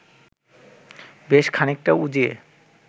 বেশ খানিকটা উজিয়ে